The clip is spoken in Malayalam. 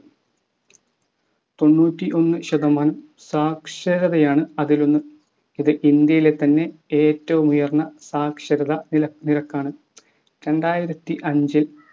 തൊണ്ണൂറ്റി ഒന്ന് ശതമാനം സാക്ഷരതയാണ്‌ അതിലൊന്ന്. ഇത് ഇന്ത്യയിലെ തന്നെ ഏറ്റവുമുയർന്ന സാക്ഷരതാ നിര നിരക്കാണ്‌. രണ്ടായിരത്തി അഞ്ചിൽ